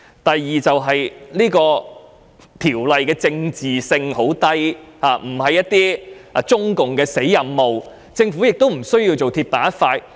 第二，《條例草案》的政治性很低，並非中共的"死任務"，所以政府不必鐵板一塊。